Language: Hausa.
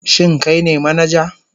Shin kai ne manaja?